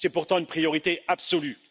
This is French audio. C'est pourtant une priorité absolue!